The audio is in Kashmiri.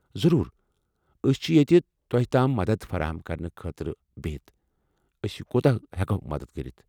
ضرور! أسۍ چِھ ییٚتہِ تام مدد فراہم کرنہٕ خٲطرٕ بِہِتھ، أسۍ کوٗتاہ ہیکَو مدد کٔرِتھ۔